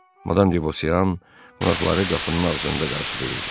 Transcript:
Madam Devoseyan qonaqları qapının ağzında qarşılayırdı.